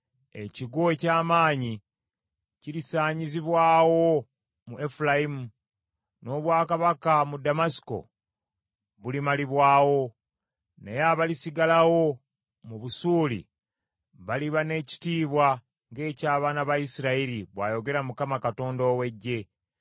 Ekigo eky’amaanyi kirisaanyizibwawo mu Efulayimu, n’obwakabaka mu Ddamasiko bulimalibwawo; naye abalisigalawo mu Busuuli, baliba n’ekitiibwa ng’eky’abaana ba Isirayiri,” bw’ayogera Mukama Katonda ow’Eggye.